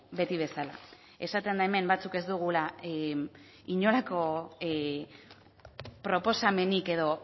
beti bezala esaten da hemen batzuk ez dugula inolako proposamenik edo